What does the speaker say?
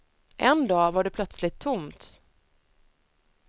En dag var det plötsligt tomt.